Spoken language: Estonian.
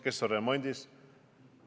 Helikopter võib ka remondis olla.